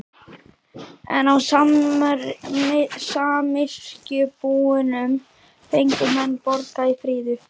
En á samyrkjubúunum fengu menn borgað í fríðu.